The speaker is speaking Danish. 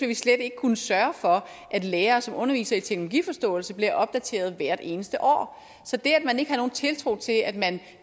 vi slet ikke kunne sørge for at de lærere som underviser i teknologiforståelse bliver opdateret hvert eneste år så det at man ikke har nogen tiltro til at man